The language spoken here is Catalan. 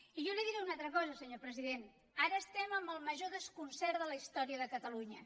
i jo li diré una altra cosa senyor president ara estem amb el major desconcert de la història de catalunya